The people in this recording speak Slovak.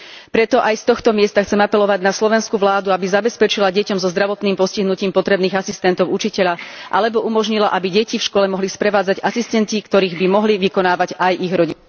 Preto chcem aj z tohto miesta apelovať na slovenskú vládu, aby zabezpečila deťom so zdravotným postihnutím potrebných asistentov učiteľa alebo umožnila, aby deti v škole mohli sprevádzať asistenti, ktorých by mohli vykonávať aj ich rodičia...